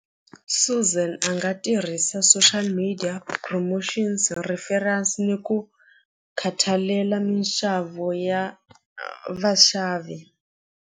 Suzan a nga tirhisa social media promotions referrals ni ku khathalela minxavo ya vaxavi.